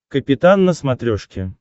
капитан на смотрешке